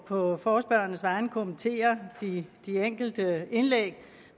på forespørgernes vegne kommentere de enkelte indlæg